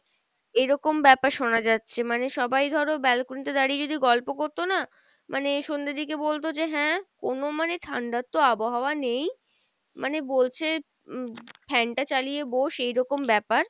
এরকম ব্যাপার শোনা যাচ্ছে, মানে সবাই ধরো balcony তে দাড়িয়ে যদি গল্প করতো না, মানে সন্ধ্যা দিকে বলতো যে হ্যাঁ কোনো মানে ঠান্ডার তো আবহাওয়া নেই, মানে বলছে উম fan টা চালিয়ে বোস এইরকম ব্যাপার।